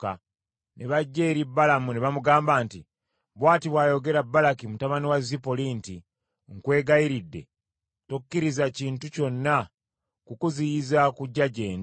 Ne bajja eri Balamu ne bamugamba nti, “Bw’ati bw’ayogera Balaki mutabani wa Zipoli nti, ‘Nkwegayiridde, tokkiriza kintu kyonna kukuziyiza kujja gye ndi;